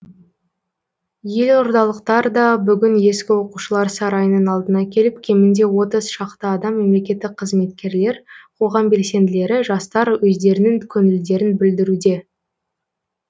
елордалықтар да бүгін ескі оқушылар сарайының алдына келіп кемінде отыз шақты адам мемлекеттік қызметкерлер қоғам белсенділері жастар өздерінің көңілдерін білдіруде